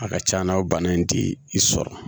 A ka c'a na o bana in ti i sɔrɔ